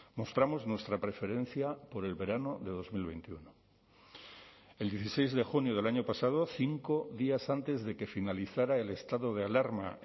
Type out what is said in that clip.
mostramos nuestra preferencia por el verano de dos mil veintiuno el dieciséis de junio del año pasado cinco días antes de que finalizara el estado de alarma